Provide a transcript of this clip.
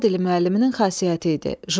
Ana dili müəlliminin xasiyyəti idi.